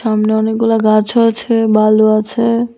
সামনে অনেকগুলা গাছও আছে বালু আছে।